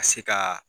Ka se ka